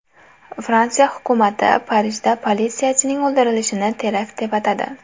Fransiya hukumati Parijda politsiyachining o‘ldirilishini terakt deb atadi.